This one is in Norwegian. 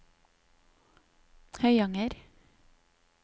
Høyanger